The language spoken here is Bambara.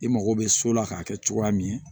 I mago bɛ so la k'a kɛ cogoya min